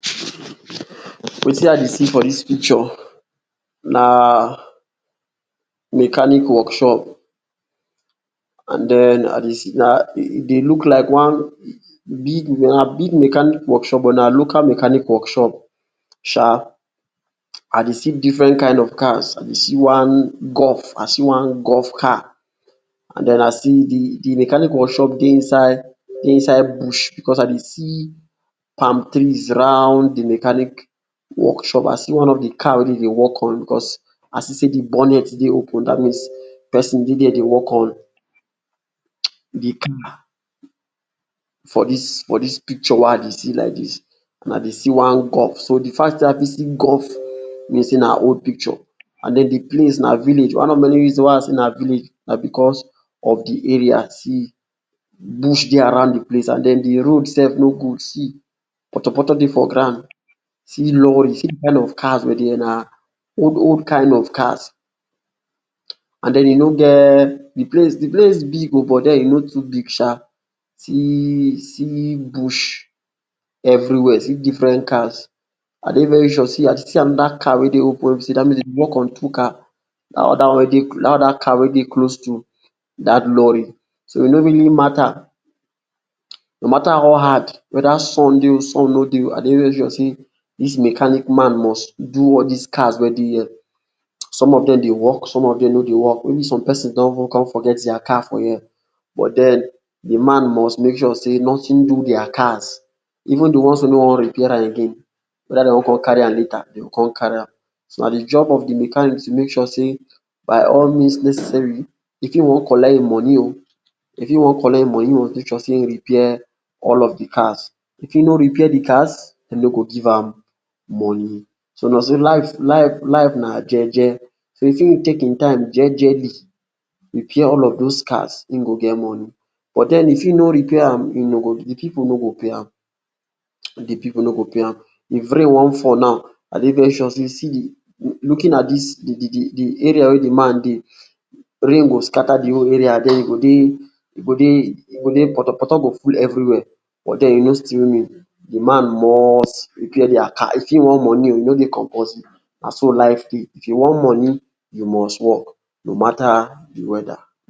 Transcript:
Wetin I dey see for dis picture na mechanic workshop. And den, I dey see, na, e dey look like one big, na big mechanic workshop, but na local mechanic workshop sha. I dey see different kain of cars. I dey see one golf, I see one golf car, and den I see de de mechanic workshop dey inside dey inside bush, because I dey see palm trees round de mechanic workshop. I see one of de car wey dem dey work on. Because, I see sey de bonnet dey open. Dat means pesin dey there dey work on um de car. For dis for dis picture wey I dey see laidis and I dey see one golf. So, de fact sey I fit see golf mean sey na old picture. And den de place na village. One of de many reasons wey I say na village na because of de area. See, bush dey around de place and den, de road sef no good. See, potopoto dey for ground. See lorry, see de kain of cars wey dey here. Na old old kain of cars. And den, e no get, de place de place big oh, but e no too big sha. See, see bush everywhere. See different cars. I dey very sure see I still see another car wey dey open wey be sey dat means dem dey work on two car. Dat other one wey dey um dat other car wey dey close to dat lorry. So, e no really matter, no matter how hard, weda sun dey, sun no dey oh, I dey very sure sey de mechanic man must do all dis cars wey dey here. um some of dem dey work, some of dem no dey work. Maybe some pesins don con forget dia cars for here, but den, de man must make sure sey notin do dia cars. Even de ones wey no wan repair am again, weda dey wan con carry am later, dem go con carry am. So, na de job of de mechanic to make sure sey, by all means necessary, if e wan collect im moni, if e wan collect im moni oh, e go make sure sey e repair all of de cars. If e no repair de cars, dem no go give am moni. So, na so life life life na jeje. If im take im time jejely repair all of those cars, im go get moni. But den, if e no repair am, im no go, de pipu no go pay am. De pipu no go pay am um. If rain wan fall now, I dey very sure sey, see de, looking at dis, de de de area wey de man dey, rain go scatter de whole area and den, e go dey e go dey, potopoto go full everywhere. But den, e no still mean. De man must repair dia car. If e wan moni oh, e no dey compulsory oh. Na so life dey. If you wan moni, you must work. No matter